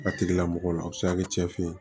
A tigila mɔgɔ la a be se ka kɛ cɛ fe ye